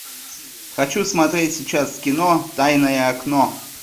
хочу смотреть сейчас кино тайное окно